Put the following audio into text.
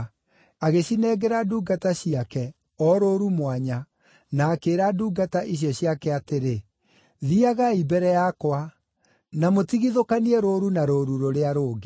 Agĩcinengera ndungata ciake, o rũũru mwanya, na akĩĩra ndungata icio ciake atĩrĩ, “Thiiagai mbere yakwa, na mũtigithũkanie rũũru na rũũru rũrĩa rũngĩ.”